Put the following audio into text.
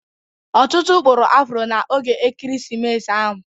Ọtụtụ kpụrụ afro na oge Ekeresimesi ahụ.